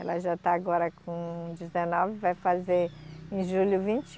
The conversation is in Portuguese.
Ela já está agora com dezenove, vai fazer em julho vinte